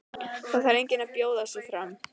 Það þarf enginn að bjóða sig fram.